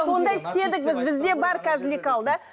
сондай істедік біз бізде бар қазір лекал да